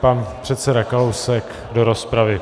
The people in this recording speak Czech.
Pan předseda Kalousek do rozpravy.